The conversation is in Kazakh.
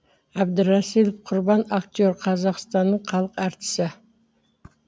әбдірасілов құрбан актер қазақстанның халық әртісі